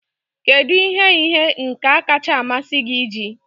Kedu ihe ihe nka kacha amasị gị iji?